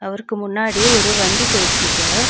அவருக்கு முன்னாடி ஒரு வண்டி போயிட்ருக்கு.